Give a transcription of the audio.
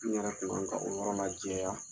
N yɛrɛ kun ka kan o yɔrɔ lajɛya